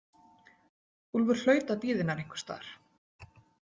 Úlfur hlaut að bíða hennar einhvers staðar.